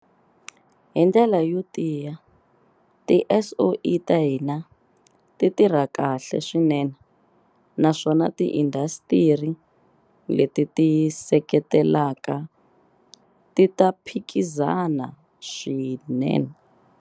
Hi ndlela yo tiya, tiSOE ta hina ti ta tirha kahle swinene naswona tiindasitiri leti ti ti seketelaka ti ta phikizana swinene.